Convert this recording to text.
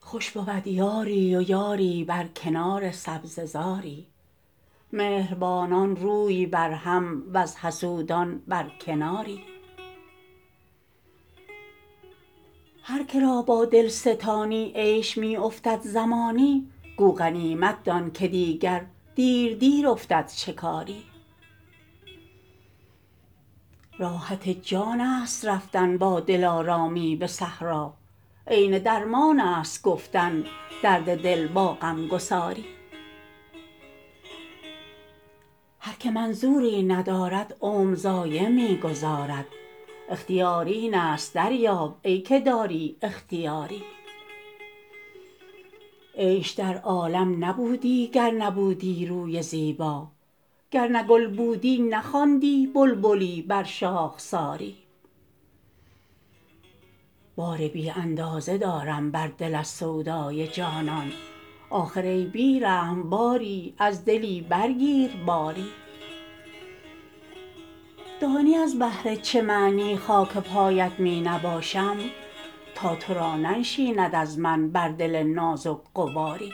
خوش بود یاری و یاری بر کنار سبزه زاری مهربانان روی بر هم وز حسودان بر کناری هر که را با دل ستانی عیش می افتد زمانی گو غنیمت دان که دیگر دیر دیر افتد شکاری راحت جان است رفتن با دلارامی به صحرا عین درمان است گفتن درد دل با غم گساری هر که منظوری ندارد عمر ضایع می گذارد اختیار این است دریاب ای که داری اختیاری عیش در عالم نبودی گر نبودی روی زیبا گر نه گل بودی نخواندی بلبلی بر شاخساری بار بی اندازه دارم بر دل از سودای جانان آخر ای بی رحم باری از دلی برگیر باری دانی از بهر چه معنی خاک پایت می نباشم تا تو را ننشیند از من بر دل نازک غباری